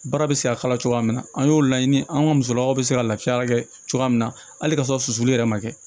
Baara bɛ se ka kala cogoya min na an y'o laɲini an ka musolakaw bɛ se ka lafiya kɛ cogoya min na hali kasɔrɔ sulu yɛrɛ ma kɛ